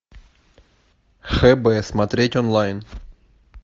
хб смотреть онлайн